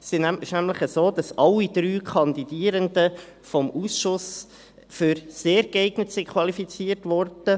Es ist nämlich so, dass alle drei Kandidierenden vom Ausschuss als sehr geeignet qualifiziert wurden: